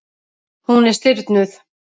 Hún er stirðnuð.